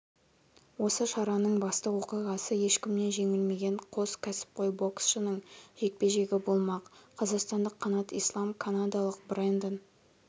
осы шараның басты оқиғасы ешкімнен жеңілмеген қос ксіпқой боксшының жекпе-жегі болмақ қазақстандық қанат ислам канадалық брэндон